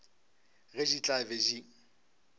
ge di tla be di